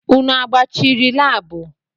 Unu agbachiri laabu?